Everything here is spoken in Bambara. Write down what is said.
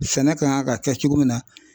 Sɛnɛ kan ka kɛ cogo min na.